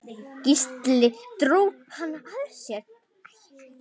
Gísli dró hana að sér.